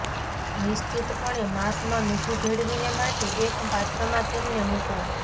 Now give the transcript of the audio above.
નિશ્ચિતપણે માંસમાં મીઠું ભેળવીને માટે એક પાત્રમાં તેમને મૂકો